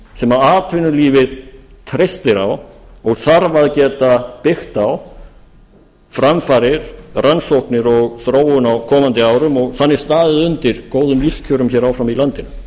sem atvinnulífið treystir á og þarf að geta byggt á framfarir rannsóknir og þróun á komandi árum og þannig staðið undir lífskjörum áfram í landinu